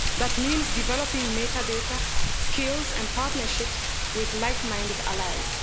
That means developing metadata skills and partnerships with like minded allies.